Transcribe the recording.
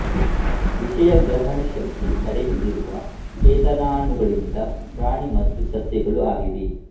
ವಿಷಯಗ್ರಹಣಶಕ್ತಿ ಕಡಿಮೆ ಇರುವ ಚೇತನಾಣುಗಳಿಂದ ಪ್ರಾಣಿ ಮತ್ತು ಸಸ್ಯಗಳು ಆಗಿವೆ